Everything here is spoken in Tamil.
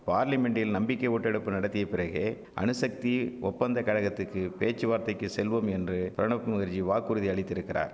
பார்லிமென்டில் நம்பிக்கை ஓட்டெடுப்பு நடத்திய பிறகே அணுசக்தி ஒப்பந்த கழகத்துக்கு பேச்சுவார்த்தைக்கு செல்வோம் என்று பிரணப் முகர்ஜி வாக்குறுதி அளித்திருக்கிறார்